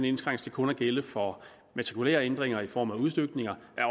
indskrænkes til kun at gælde for matrikulære ændringer i form af udstykninger